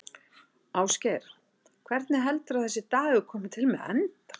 Ásgeir: Hvernig heldurðu að þessi dagur komi til með að enda?